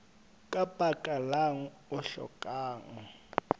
ka baka lang o hlokang